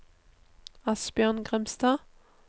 Asbjørn Grimstad